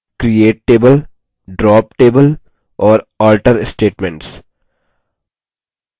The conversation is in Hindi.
create table drop table और alter statements